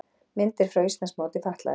Myndir frá Íslandsmóti fatlaðra